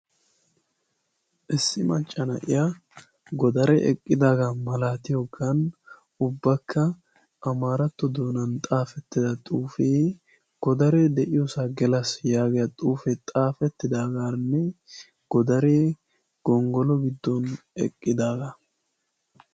isssi macca na'iya godaree eqqidaaga malaatiyogan ubakka amaaratto xuufiyan godaree de'iyosaa gelas yaagiya xuufiyanne godaree gongolo godon eqqidaagaa.